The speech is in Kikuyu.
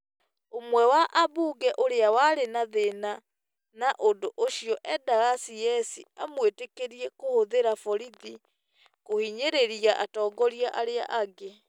Ũmwe wa ambunge ũrĩa warĩ na thĩna na ũndũ ũcio endaga CS kĩmwĩtĩkĩrie kũhũthĩra borithi kũhinyĩrĩria atongoria arĩa angĩ.